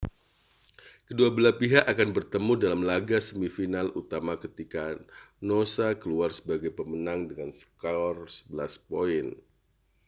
kedua belah pihak akan bertemu dalam laga semifinal utama ketika noosa keluar sebagai pemenang dengan skor 11 poin